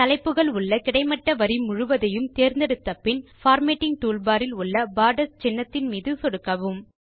தலைப்புகள் உள்ள கிடைமட்ட வரி முழுவதையும் தேர்ந்தெடுத்தபின் பார்மேட்டிங் டூல்பார் இல் உள்ள போர்டர்ஸ் சின்னம் மீது சொடுக்கவும்